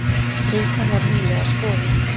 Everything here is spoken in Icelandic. Rútan var nýlega skoðuð